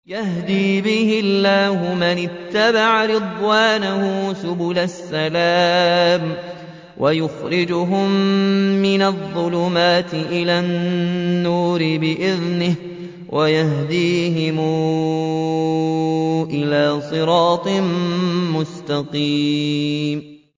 يَهْدِي بِهِ اللَّهُ مَنِ اتَّبَعَ رِضْوَانَهُ سُبُلَ السَّلَامِ وَيُخْرِجُهُم مِّنَ الظُّلُمَاتِ إِلَى النُّورِ بِإِذْنِهِ وَيَهْدِيهِمْ إِلَىٰ صِرَاطٍ مُّسْتَقِيمٍ